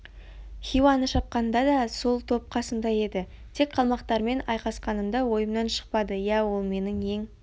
хиуаны шапқанында да сол топ қасымда еді тек қалмақтармен айқасқанымда ойымнан шықпады иә ол менің ең